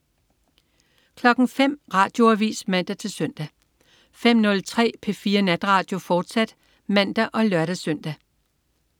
05.00 Radioavis (man-søn) 05.03 P4 Natradio, fortsat (man og lør-søn)